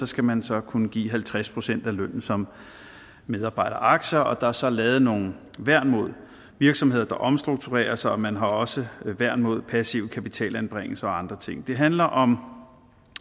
skal man så kunne give halvtreds procent af lønnen som medarbejderaktier og der er så lavet nogle værn mod virksomheder der omstrukturerer sig og man har også værn mod passive kapitalanbringelser og andre ting det handler om